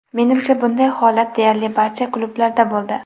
Menimcha bunday holat deyarli barcha klublarda bo‘ldi.